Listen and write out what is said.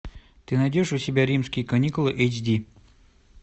ты найдешь у себя римские каникулы эйч ди